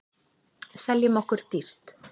Seljum okkur dýrt